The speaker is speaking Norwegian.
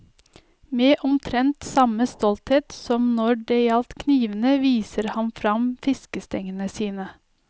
Med omtrent samme stolthet som når det gjaldt knivene viser han fram fiskestengene sine.